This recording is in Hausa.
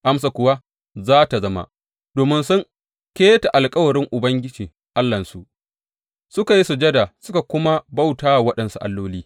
Amsar kuwa za tă zama, Domin sun keta alkawarin Ubangiji Allahnsu, suka yi sujada suka kuma bauta wa waɗansu alloli.’